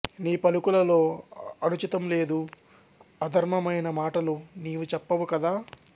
నీ పలుకులలో అనుచితంలేదు అధర్మమైన మాటలు నీవు చెప్పవు కదా